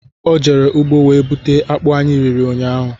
Ọ jere ugbo wee buta akpụ anyị riri ụnyaahụ